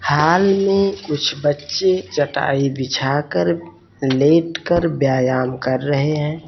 Hall में कुछ बच्चे चटाई बिछाकर लेटकर व्यायाम कर रहे हैं।